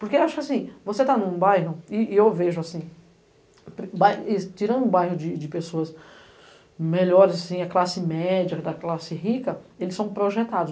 Porque acho que assim, você está num bairro, e eu vejo assim, tirando o bairro de pessoas melhores, assim, a classe média, a classe rica, eles são projetados.